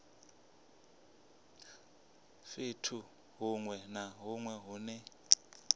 fhethu hunwe na hunwe hune